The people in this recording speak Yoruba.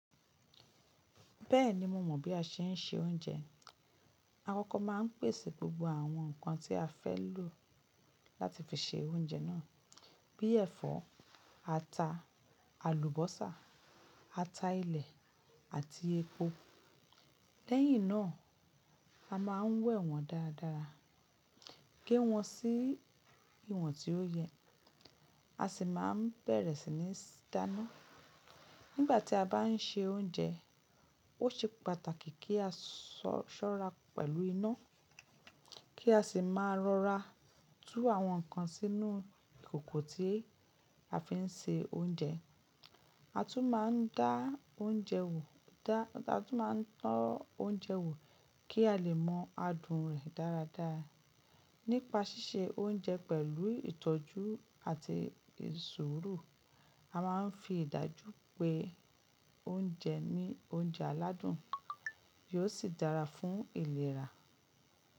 Bẹ́ẹ̀ni mo mọ̀ bí a ṣe ń se oúnjẹ. Akọkọ máa ń pèsè gbogbo àwọn nǹkan tí a fẹ́ lò láti fi se oúnjẹ náà bíi ẹ̀fọ́, ata, àlùbọ́sà, ata ilẹ̀ àti epo. Lẹ́yìn náà a máa ń wẹ̀ wọ́n dáradára, gé wọ́n sí ìwọ̀n tí ó yẹ, a sì máa bẹ̀rẹ̀ sí ní dáná. Nígbà tí a bá ń se oúnjẹ, ó ṣe pàtàkì kí á ṣọ́ra pẹ̀lú iná kí a sì máa rọra tú àwọn nǹkan sínú ìkòkò tí a fi ń se oúnjẹ. A tún máa ń to oúnjẹ wò kí a lè mọ adùn rẹ̀ dáradára. Nípa ṣíṣe oúnjẹ pẹ̀lú ìtọ́jú àti ṣuuru, a máa ń fi ìdájú pé oúnjẹ ni, oúnjẹ aládùn, yóò sì dára fún ìlera.